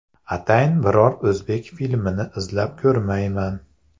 Atayin biror o‘zbek filmini izlab ko‘rmayman.